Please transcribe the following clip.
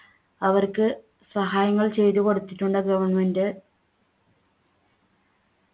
അവർക്ക് സഹായങ്ങൾ ചെയ്തു കൊടുത്തിട്ടുണ്ട് government